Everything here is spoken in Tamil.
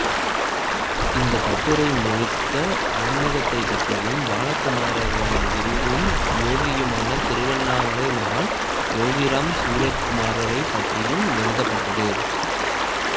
இந்த கட்டுரை முழுக்க ஆன்மிகத்தைப் பற்றியும் பாலகுமாரனின் குருவும் யோகியுமான திருவண்ணாமலை மகான் யோகிராம் சுரத்குமாரைப் பற்றியும் எழுதப்பட்டது